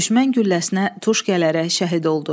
Düşmən gülləsinə tuş gələrək şəhid oldu.